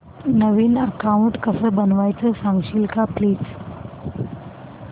नवीन account कसं बनवायचं सांगशील का प्लीज